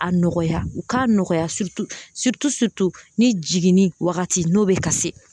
A nɔgɔya u k'a nɔgɔya ni jiginni wagati n'o bɛ ka se